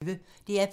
DR P1